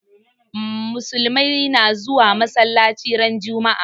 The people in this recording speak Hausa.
Musulmai na zuwa masalaci ran juma'a